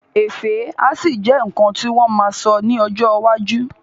Ẹfẹ́ á ṣì jẹ́ nǹkan tí wọ́n ma sọ ní ọjọ́ iwájú